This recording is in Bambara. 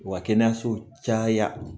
U ka kɛnɛyasow caya.